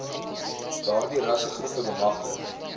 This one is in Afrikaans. daardie rassegroepe bemagtig